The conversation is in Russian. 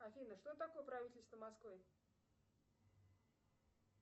афина что такое правительство москвы